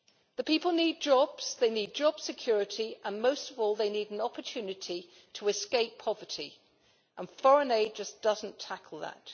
The people need jobs, they need job security, and most of all, they need an opportunity to escape poverty. Foreign aid just does not tackle that.